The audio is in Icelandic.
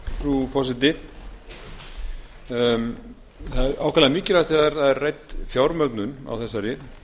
frú forseti það er ákaflega mikilvægt þegar rædd er fjármögnun á þessari